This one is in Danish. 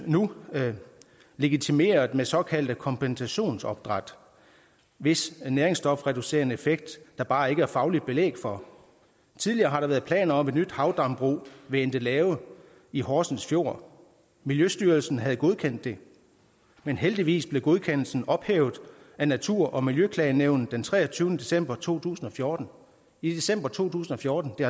nu legitimeret med såkaldte kompensationsopdræt hvis næringsstofreducerende effekt der bare ikke er fagligt belæg for tidligere har der været planer om et nyt havdambrug ved endelave i horsens fjord miljøstyrelsen havde godkendt det men heldigvis blev godkendelsen ophævet af natur og miljøklagenævnet den treogtyvende december to tusind og fjorten i december to tusind og fjorten det